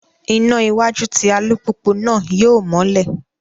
Iná iwájú tí alupupu náà yóò mọlẹ